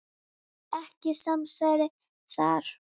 Ekkert samsæri þar.